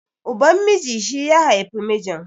Uban miji shi ya haifi mijin